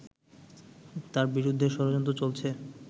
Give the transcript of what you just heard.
তার বিরুদ্ধে ষড়যন্ত্র চলছে